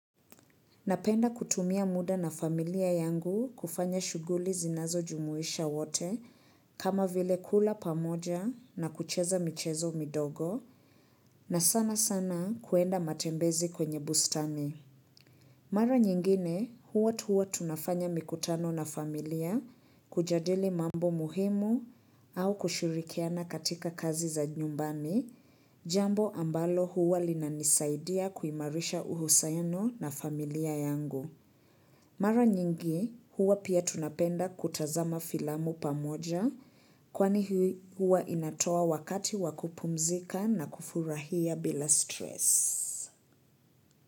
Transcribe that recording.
Napenda kutumia muda na familia yangu kufanya shughuli zinazo jumuisha wote kama vile kula pamoja na kucheza michezo midogo na sana sana kuenda matembezi kwenye bustani. Mara nyingine huwa tuwa tunafanya mikutano na familia kujadili mambo muhimu au kushirikiana katika kazi za nyumbani jambo ambalo huwa linanisaidia kuimarisha uhusiano na familia yangu. Mara nyingi huwa pia tunapenda kutazama filamu pamoja kwani hii huwa inatoa wakati wa kupumzika na kufurahia bila stress.